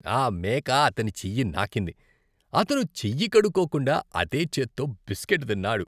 ఆ మేక అతని చెయ్యి నాకింది, అతను చెయ్యి కడుక్కోకుండా అదే చేత్తో బిస్కెట్ తిన్నాడు.